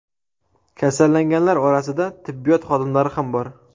Kasallanganlar orasida tibbiyot xodimlari ham bor .